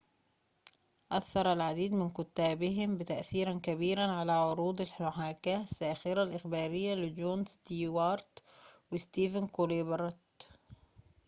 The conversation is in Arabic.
أثَّر العديد من كُتابهم تأثيرًا كبيرًا على عروض المحاكاة الساخرة الإخبارية لجون ستيوارت وستيفن كولبرت